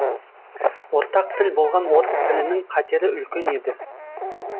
ортақ тіл болған орыс тілінің қатері үлкен еді